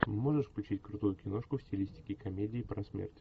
можешь включить крутую киношку в стилистике комедии про смерть